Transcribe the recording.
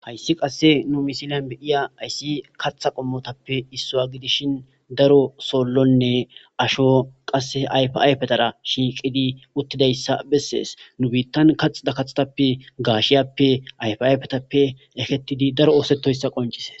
hayssi qasse nu misilan beiya ayssi katha qommotappe issoa gidishin daro sollonne asho qasse ayfayfetara shiiqidi uttidayssa bessees nu biittan kaxida kaxtappe gaashiyappe ayfayfetappe ekettidi daro oosettoyssa qoncise